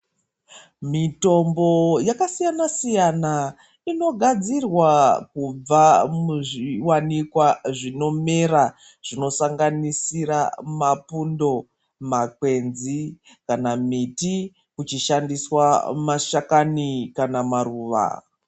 Mitombo yakasiyana-siyana inogadzira kubva muzvivanikwa zvinomera, zvinosanganisira mapundo, makwenzi kana miti kuchishandiswa mashakani kana maruva.